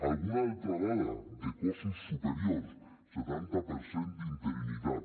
alguna altra dada de cossos superiors setanta per cent d’interinitat